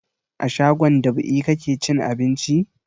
A shagon dab'i kake cin abinci?